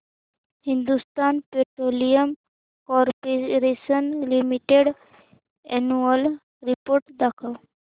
Hindustan Petroleum Corporation Limited annual report दाखव